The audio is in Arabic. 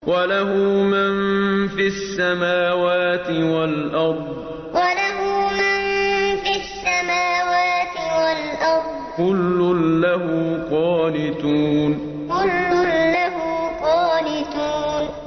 وَلَهُ مَن فِي السَّمَاوَاتِ وَالْأَرْضِ ۖ كُلٌّ لَّهُ قَانِتُونَ وَلَهُ مَن فِي السَّمَاوَاتِ وَالْأَرْضِ ۖ كُلٌّ لَّهُ قَانِتُونَ